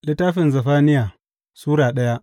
Zefaniya Sura daya